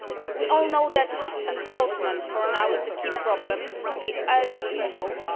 We all know that enforcement for now is the key problem to be urgently solved.